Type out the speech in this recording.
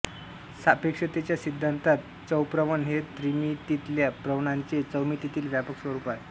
सापेक्षतेच्या सिद्धान्तात चौप्रवण हे त्रिमितीतल्या प्रवणाचे चौमितीतील व्यापक स्वरूप आहे